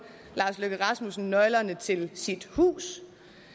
lars løkke rasmussen nøglerne til sit hus